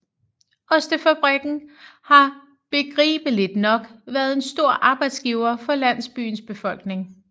Ostefabrikken har begribeligt nok været en stor arbejdsgiver for landsbyens befolkning